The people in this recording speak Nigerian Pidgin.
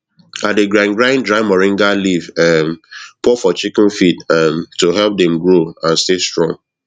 i dey grind grind dry moringa leaf um pour for chicken feed um to help dem grow and stay strong